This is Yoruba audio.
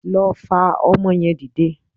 Lọ fa ọmọ yẹn dìde